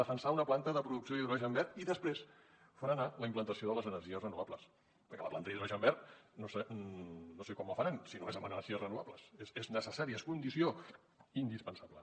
defensar una planta de producció d’hidrogen verd i després frenar la implantació de les energies renovables perquè la planta d’hidrogen verd no sé com la faran si no és amb energies renovables és necessària és condició indispensable